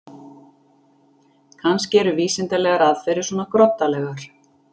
Kannski eru vísindalegar aðferðir svona groddalegar.